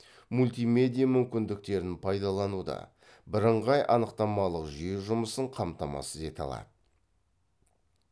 мультимедия мүмкіндіктерін пайдалануды бірыңғай анықтамалық жүйе жұмысын қамтамасыз ете алады